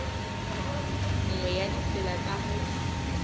nngwe ya ditsela tsa ho